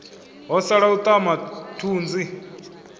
ho sala u aṱama thunzi